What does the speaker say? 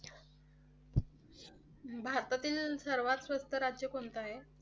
भारतातील सर्वात स्वस्त राज्य कोणतं आहे?